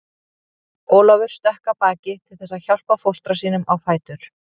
Ólafur stökk af baki til þess að hjálpa fóstra sínum á fætur.